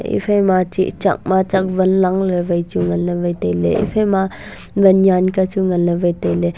ephai ma chih chak ma chak wan lang le wai chu ngan le wai tai le ephai ma wan nyan kya chu wai ngan le tai le.